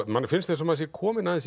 manni finnst eins og maður sé kominn